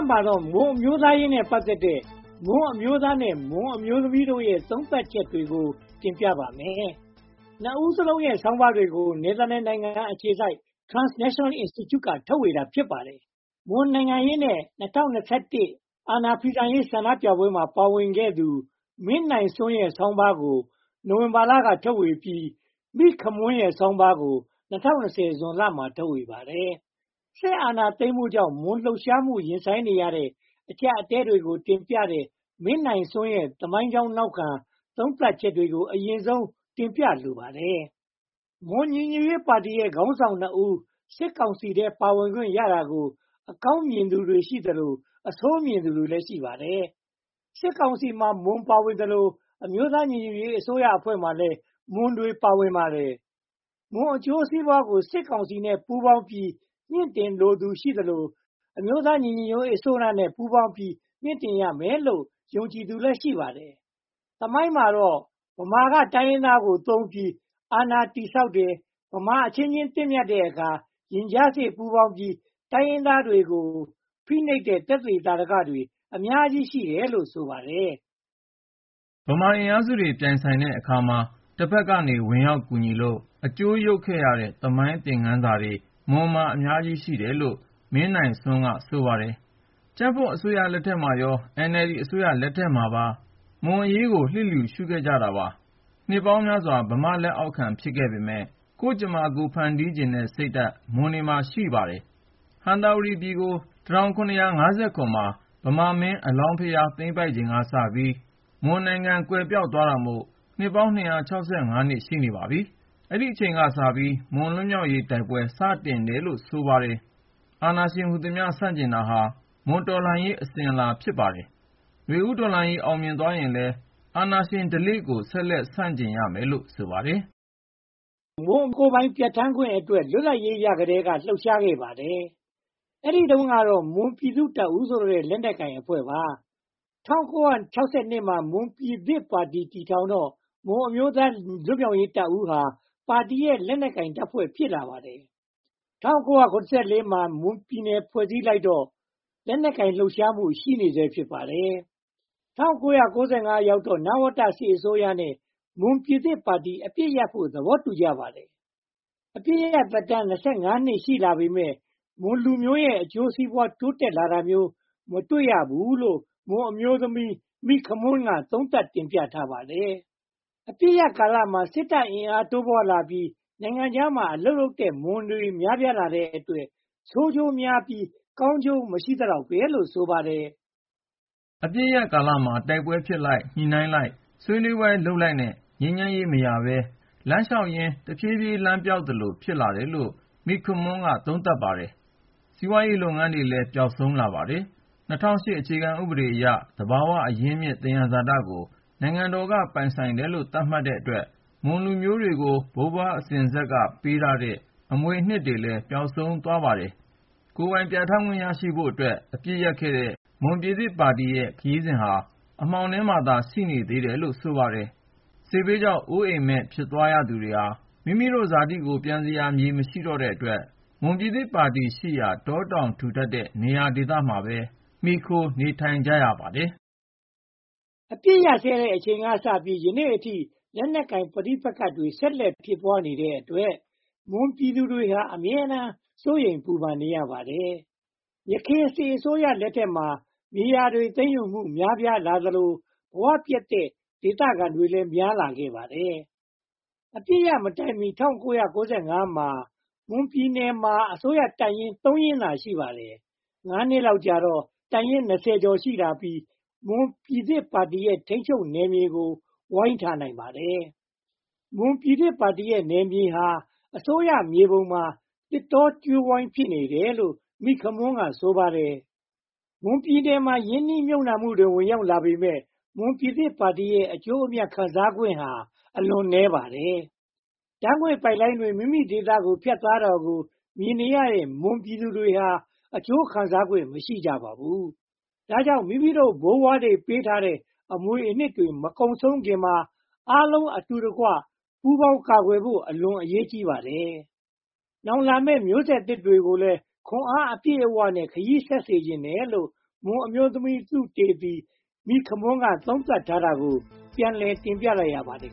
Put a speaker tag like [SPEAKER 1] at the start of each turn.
[SPEAKER 1] မှာတော့ မွန်အမျိုးသားရေးနဲ့ ပတ်သက်တဲ့ မွန်အမျိုးသားနဲ့ မွန်အမျိုးသမီးတို့ရဲ့ သုံးသပ်ချက်တွေကို တင်ပြပါမယ်။ နှစ်ဦးစလုံးရဲ့ ဆာင်းပါးတွေကို နယ်သာလန်နိုင်ငံအခြေစိုက် Transnational Institute က ထုတ်ဝေတာ ဖစ်ပါတယ်။ မွန်နိုင်ငံရေးနဲ့ ၂၀၂၁ အာဏာဖီဆန်ရေး ဆန္ဒပြပွဲမှာပါဝင်ခဲ့သူ မင်းနိုင်စွန်းရဲ့ဆောင်းပါးကို ဝင်ဘာလက ထုတ်ဝေပြီး၊ မိခမွန်းရဲ့ဆောင်းပါးကိုတော့ ၂၀၂၀ ဇွန်လမှာ ထုတ်ဝေပါတယ်။ စစ်အာဏာသိမ်းမှုကြောင့် မွန်လှုပ်ရှားမှု ရင်ဆိုင်နေရတဲ့ အကျပ်အတည်းတွေကို တင်ပြထားတဲ့ မင်းနိုင်စွန်းရဲ့သမိုင်းကြောင်းနောက်ခံ သုံးသပ်ချက်တွေကို အရင်ဆုံးတင်ပြလိုပါတယ်။ မွန်ညီညွတ်ရေးပါတီရဲ့ ခါင်းဆောင်နှစ်ဦး စစ်ကောင်စီထဲ ပါဝင်ခွင့်ရတာကို အကောင်းမြင်သူတွေရှိသလို၊ အဆိုးမြင်သူတွေလည်း ရှိပါတယ်။ စစ်ကောင်စီမှာ မွန်ပါဝင်သလို အမျိုးသားညီညွတ်ရေးအစိုးရအဖွဲ့မှာလည်း မွန်တွေ ပါဝင်ပါတယ်။ မွန်အကျိုးစီးပွားကို စစ်ကောင်စီနဲ့ ပူးပေါင်းပြီး မှင့်တင်လိုသူ ရှိသလို၊ အမျိုးသားညီညွှတ်ရေးအစိုးရနဲ့ ပူးပေါင်းပြီး မြှင့်တင်ရမယ်လို့ ယုံကြည်သူလည်း ရှိပါတယ်။ သမိုင်းမှာတော့ ဗမာက တိုင်းရင်းသားကိုသုံးပြီးအာဏာတည်ဆောက်ပါတယ်။ ဗမာအချင်းချင်း သင့်မြတ်တဲ့အခါ၊ ရင်ကြားစေ့ပူးပေါင်းပြီး တိုင်းရင်းသားတွေကို ဖိနှိပ်တဲ့ သက်သေသာဓကတွေ အများကြီးရှိတယ်လို့ ဆိုပါတယ်
[SPEAKER 2] ။ ဗမာအင်အားစုတွေ ပြိုင်ဆိုင်တဲ့အခါမှာ တဘက်ကနေ ဝင်ရောက်ကူညီလို့ အကျိုးယုတ်ခဲ့ရတဲ့ သမိုင်းသင်ခန်းစာတွေ မွန်မှာ အများကြီးရှိတယ်လို့ မင်းနိုင်စွန်းက ဆိုပါတယ်။ ကြံ့ဖွံ့အစိုးရလက်ထက်မှာရော၊ NLD အစိုးရလက်ထက်မှာရော မွန်အရေးကို လျစ်လျူရှုခဲ့ကြပါတယ်။နှစ်ပေါင်းများစွာ ဗမာ့လက်အောက်ခံ ဖစ်ခဲ့ပေမယ့် ကိုယ့်ကြမ္မာ ကိုယ်ဖန်တီးချင်တဲ့ စိတ်ဓါတ် မွန်တွေမှာ ရှိနေပါတယ်။ ဟံသာဝတီပြည်ကို မှာ ဗမာမင်း အလောင်းဘုရား သိမ်းပိုက်ချိန်ကစပြီး မွန်နိုင်ငံ ကွယ်ပျောက်သွားတာမို့ စ်ပေါင်း စ် ရှိနေပါပြီ။ အဲဒီအချိန်ကစပြီး မွန်လွတ်မြောက်ရေး တိုက်ပွဲ စတင်ခဲ့တယ်လို့ ဆိုပါတယ်။ အာဏာရှင်ဟူသမျှ ဆန့်ကျင်တာဟာ မွန်တော်လှန်ရေး အစဉ်အလာ ဖစ်ပါတယ်။ ဦးတော်လှန်ရေးအောင်မြင်သွားရင်လည်း အာဏာရှင်ဓလေ့ကို ဆက်လက်ဆန့်ကျင်ရမယ်လို့ ဆိုပါတယ်
[SPEAKER 1] ။ မွန်ကိုယ်ပိုင
[SPEAKER 2] ် ပြဌာန်းခွင့်အတွ
[SPEAKER 1] က် လွတ်လပ်ရေးရကတည်းက လှုပ်ရှားခဲ့ပါတယ်။ အဲဒီတုန်းကတော့ မွန်ပြည်သူ့တပ်ဦးဆိုတဲ့ လက်နက်ကိုင်အဖွဲ့ပါ။ ၁၉၆၂ မှာ မွန်ပြည်သစ်ပါတီ တည်ထောင်တော့ မွန်အမျိုးသားလွတ်မြောက်ရေးတပ်ဦးဟာ ပါတီရဲ့ လက်နက်ကိုင်တပ်ဖွဲ့ ဖစ်လာပါတယ်။ ၁၉၇၄ မှာ မွန်ပြည်နယ် ဖွဲ့လိုက်တော့လည်း လက်နက်ကိုင် လှုပ်ရှားမှု ရှိနေဆဲ ဖစ်ပါတယ်။ ၁၉၉၅ ရောက်တော့မှ နဝတစစ်အစိုးရနဲ့ မွန်ပြည်သစ်ပါတီ အပစ်ရပ်ဖို့ သဘောတူကြပါတယ်။ အပစ်ရပ်သက်တမ်း နှစ် ရှိလာပေမယ့် မွန်လူမျိုးတွေရဲ့ အကျိုးစီးပွား တိုးတက်လာတာမျိုး မတွေ့ရဘူးလို့ မွန်အမျိုးသမီး မိခမွန်းက သုံးသပ်တင်ပြထားပါတယ်။ အပစ်ရပ်ကာလမှာ စစ်တပ်အင်အားတိုးပွားလာပြီး င်ငံခြားမှာ အလုပ်လုပ်ကြတဲ့ မွန်တွေလည်း များပြားလာတဲ့အတွက် ဆိုးကျိုးများပြီး၊ ကာင်းကျိုးမရှိသလောက်ပဲလို့ ဆိုပါတယ်
[SPEAKER 2] ။ အပစ်ရပ်ကာလမှာ တိုက်ပွဲဖြစ်လိုက်၊ ညှိနှိုင်းလိုက်၊ ဆွးနွေးပွဲလုပ်လိုက်နဲ့ ငြိမ်းချမ်းရေးမရဘဲ လမ်းလျှောက်ရင် တဖြည်းဖြည်း လမ်းပျောက်သလို ဖစ်လာတယ်လို့ မိခမွန်းက သုံးသပ်ပါတယ်။စီးပွားရေးလုပ်ငန်းတွေလည်း ပျောက်ဆုံးလာပါတယ်။ ၂၀၀၈ အခြေခံဥပဒေအရ သဘာဝအရင်းအမြစ် သယံဇာတကို င်ငံတော်က ပိုင်တယ်လို့ သတ်မှတ်ထားတဲ့အတွက် မွန်လူမျိုးတွေကို ဘိုးဘွားအစဉ်အဆက်က ပးထားခဲ့တဲ့ အမွေအနှစ်တွေလည်း ပျောက်ဆုံးသွားပါတော့တယ်။ ကိုယ်ပိုင်ပြဌာန်းခွင့်ရဖို့အတွက် အပစ်ရပ်ခဲ့တဲ့ မွန်ပြည်သစ်ပါတီရဲ့ ခရီးစဉ်ဟာလည်း အမှောင်ထဲမှာသာ ရှိနေသေးတယ်လို့ ဆိုပါတယ်။ စစ်ဘေးကြောင့် အိုးအိမ်မဲ့ဖြစ်သွားရသူတွေဟာ မိမိတို့ ဇာတိမြေကို ပန်စရာ မမရှိတော့တဲ့အတွက် မွန်ပြည်သစ်ပါတီရှိရာ တာတောင်ထူထပ်တဲ့နေရာဒေသတွေမှာပဲ မှီခိုနေထိုင်ကြရပါတယ်
[SPEAKER 1] ။ အပစ်အခတ်ရပ်စဲတဲ့ အချိန်ကစပြီး ယနေ့အထိ လက်နက်ကိုင်ပဋိပက္ခတွေ ဆက်လက်ဖြစ်ပွားနေတဲ့အတွက် မွန်ပြည်သူတွေဟာ အမြဲတမ်းစိုးရိမ်ပူပန်နေရပါတယ်။ ယခင်စစ်အစိုးရတွေ လက်ထက်မှာ မြေယာသိမ်းယူမှုတွေ များပြားလာသလို ဘဝပျက်တဲ့ ဒသခံတွေလည်း များလာခဲ့ပါတယ်။ အပစ်ရပ်မတိုင်မီ ၁၉၉၅ မှာ မွန်ပြည်နယ်မှာ အစိုးရတပ်ရင်း ရင်းသာ ရှိပါတယ်။ ငါးနှစ်လောက်ကြာတော့ တပ်ရင်း ကျာ် ရှိလာပြီး၊ မွန်ပြည်သစ်ပါတီရဲ့ ထိန်းချုပ်နယ်မြေကို ဝိုင်းထားနိုင်ပါတယ်။ မွန်ပြည်သစ်ပါတီရဲ့ နယ်မြေဟာ အစိုးရမြေပုံမှာ သစ်တောကြိုးဝိုင်း ဖစ်နေတယ်လို့ မိခမွန်းက ဆိုပါတယ်။ မွန်ပြည်နယ်ကို ရင်းနှီးမြုပ်နံှမှုတွေ ဝင်ရောက်လာပေမယ့် မွန်ပြည်သစ်ပါတီရဲ့ အကျိုးအမြတ်ခံစားခွင့်ဟာ အလွန်နည်းပါတယ်။ ဓါတ်ငွေ့ပိုက်လိုင်းတွေ မိမိတို့ဒေသကို ဖတ်သွာ တာကိုမြင်နေရတဲ့ မွန်ပြည်သူတွေဟာ အကျိုးခံစားခွင့် မရှိကြပါဘူး။ ဒါကြောင့် မိမိတို့ ဘိုးဘွားတွေ ပးထားခဲ့တဲ့ အမွေအနှစ်တွေ မကုန်ဆုံးခင်မှာ အားလုံးအတူတကွ ပူးပေါင်းကာကွယ်ဖို့ အလွန်အရေးကြီးပါတယ်။ နောင်လာမယ့် မျိုးဆက်သစ်တွေကိုလည်း ခွန်အားအပြည့်နဲ့ ခရီးဆက်စေချင်တယ်လို့ မွန်အမျိုးသမီးသုတေသီ မိခမွန်းက သုံးသပ်ထားတာကိုပြန်လည်တင်ပြလိုက်ရပါတယ်